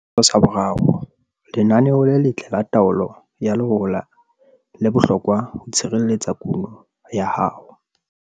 Setshwantsho 3. Lenaneo le letle la taolo ya lehola le bohlokwa ho tshireletsa kuno ya hao.